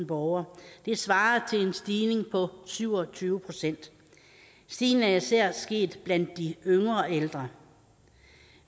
borgere det svarer til en stigning på syv og tyve procent stigningen er især sket blandt de yngre ældre